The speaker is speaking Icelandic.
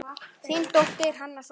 Þín dóttir, Hanna Soffía.